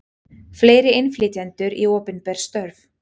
Fleiri innflytjendur í opinber störf